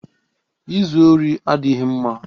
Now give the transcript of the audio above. Ịzu ori adịghị mma